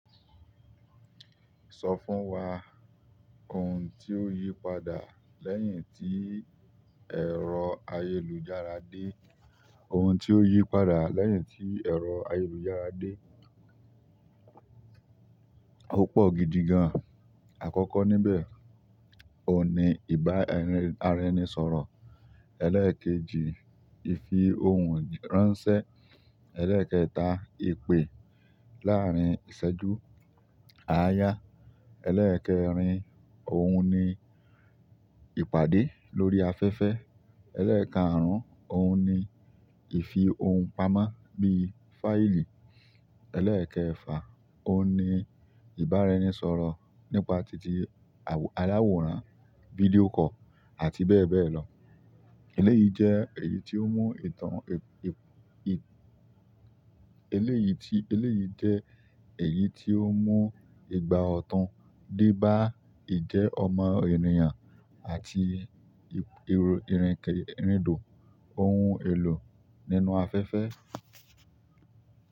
Sọ fún wa ohun tí ó yí padà lẹ́yìn tí ẹ̀rọ́ ayélujára dé. Ohun tí ó yí padà lẹ́yìn tí ẹ̀rọ ayélujára dé ò pọ̀ gidi gan. Àkọ́kọ́ níbẹ̀, òun ni ìbá ara ẹnisọ̀rọ̀, ẹlẹ́ẹ̀kejì, ìfi ohun ránṣẹ́, ẹlẹ́ẹ̀kẹta, ìpè láàárín ìṣẹ́jú áayá, ẹlẹ́ẹ̀kẹrin oun ni ìpàdé lórí afẹ́fẹ́, eleekaarun oun ni ifi ohun pamọ́ bi fáìlì, eleekefa, oun ni iba ara ẹni sọ̀rọ̀ nípa ti alaworan video call àti bebelo. Eléyìí jẹ́ èyí tí ó mú ìgbà ọ̀tún dé bá ìjẹ́ ọmọ ènìyàn àti ìrìnkèrindò ohun èlò nínú afẹ́fẹ́.